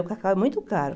O cacau é muito caro.